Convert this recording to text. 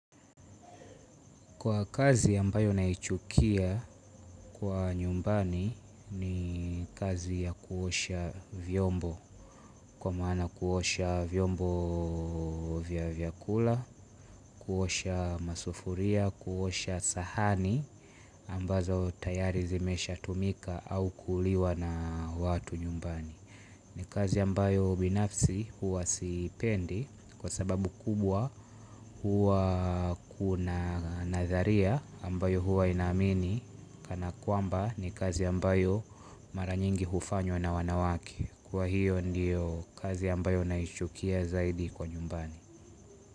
Kwa kazi ambayo naichukia kwa nyumbani ni kazi ya kuosha vyombo, kwa maana kuosha vyombo vya vyakula, kuosha masufuria, kuosha sahani ambazo tayari zimeshatumika au kuliwa na watu nyumbani. Ni kazi ambayo binafsi huwa sipendi kwa sababu kubwa huwa kuna natharia ambayo huwa inamini kana kwamba ni kazi ambayo mara nyingi hufanywa na wanawake. Kwa hiyo ndiyo kazi ambayo naishukia zaidi kwa nyumbani.